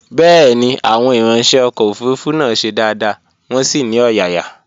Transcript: Bẹ́ẹ̀ni, Àwọn ìranṣẹ́ ọkọ̀ òfurufú náà ṣe dáadáa, wọn sì ní ọ̀yàyà